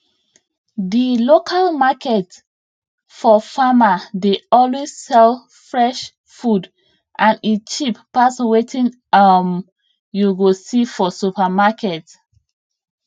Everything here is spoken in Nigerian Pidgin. di local market for farmer dey always sell fresh food and e cheap pass wetin um you go see for supermarket